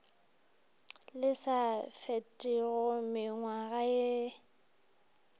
le sa fetego mengwaga ye